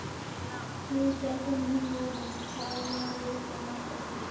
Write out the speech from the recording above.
Klíkan, sem hún var í, talaði svo marga til.